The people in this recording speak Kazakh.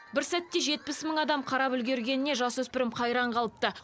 бір сәтте жетпіс мың адам қарап үлгергеніне жасөспірім қайран қалыпты